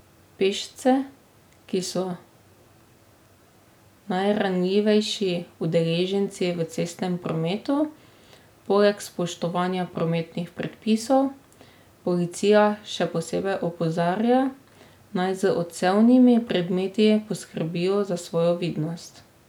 Pešce, ki so najranljivejši udeleženci v cestnem prometu, poleg spoštovanja prometnih predpisov, policija še posebej opozarja naj z odsevnimi predmeti poskrbijo za svojo vidnost.